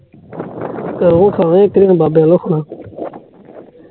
ਘਰੋਂ ਖਾਯਾ, ਇਕ ਦਿਨ ਬਾਬੇ ਵਲੋਂ